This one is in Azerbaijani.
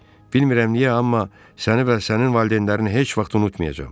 Bilmirəm niyə, amma səni və sənin valideynlərini heç vaxt unutmayacam.